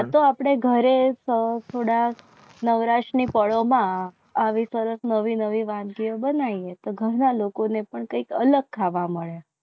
આ તો આપણે ઘરે સૌ થોડા નવરાશની ફળોમાં આવી સરસ નવી નવી વાનગીઓ બનાવીએ તો ઘરના લોકોને પણ કંઈક અલગ ખાવા મળે.